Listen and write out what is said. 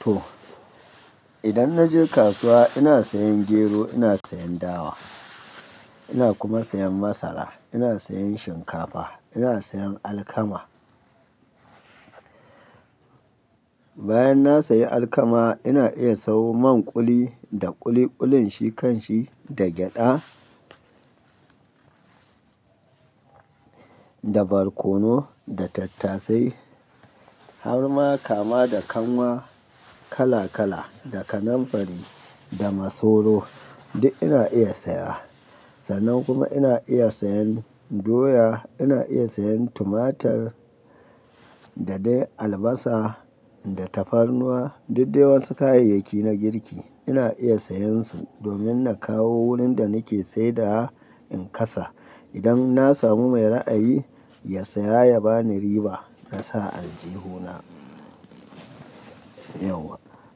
To, idan na je kasuwa ina sayan gero, ina sayan dawa, ina kuma sayan masara, ina sayan shinkafa, ina sayan alkama. Bayan na sayi alkama ina iya sayo man kuli da ƙuli ƙulin shi kanshi, da gyaɗa, da barkono, da tattasai, har ma kama da kanwa kala kala, da kanamfari, da masoro duk ina iya saya. Sannan kuma ina iya sayan doya, ina iya sayan tumatur dadai, albasa da tafarnuwa, duk de wasu kayayyaki na girki ina iya sayan su domin na kawo wurin da nake saidawa in kasa. Idan na samu mai ra'ayi, ya saya ya bani riba na sa a aljihuna.